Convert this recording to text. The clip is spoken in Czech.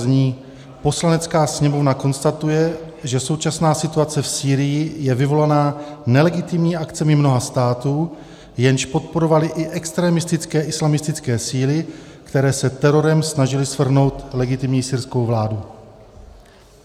Zní: "Poslanecká sněmovna konstatuje, že současná situace v Sýrii je vyvolaná nelegitimními akcemi mnoha států, jež podporovaly i extremistické islamistické síly, které se terorem snažily svrhnout legitimní syrskou vládu."